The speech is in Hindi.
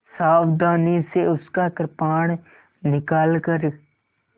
सावधानी से उसका कृपाण निकालकर